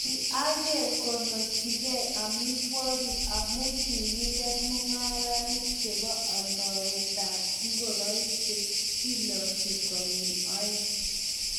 ki ang'er kenochigei amitwogik amu kikiker mung'arenik chebo aldaetab ngoroik che kilochi konyil oeng'